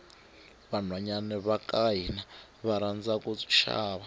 vanhwanyani vakahhina varhandza kushava